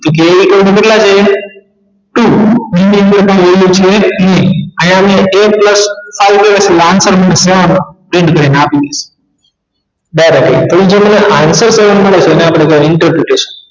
જે એકમો કેટલા છે two લીધેલ છે નહિ અહિયા મૈં a plus આપી બરાબર તો મને જે answer મળે જેને આપણે intercretion